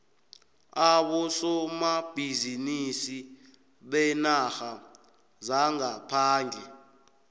abosomabhizinisi beenarha zangaphandle